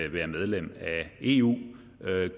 være medlem af eu